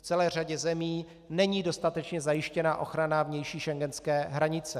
V celé řadě zemí není dostatečně zajištěna ochrana vnější schengenské hranice.